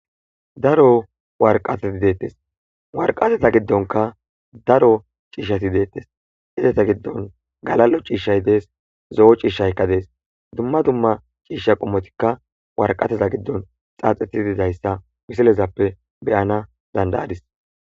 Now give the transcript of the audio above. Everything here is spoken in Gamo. Daro warqateti deettes. Warqateta giddonka daro ciishshati deettes. Izeta giddon galalo ciishshay dees; zo7o ciishshaykka dees ;dumma dumma ciishsha qomotikka warqateza giddon xaaxeti dizayssa wisilezappe beyana dandayadis.